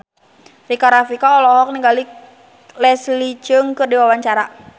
Rika Rafika olohok ningali Leslie Cheung keur diwawancara